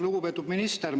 Lugupeetud minister!